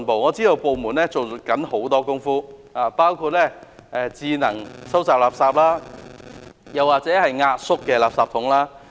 我知道有關部門正在做很多工夫，包括智能收集垃圾或具壓縮功能的垃圾桶。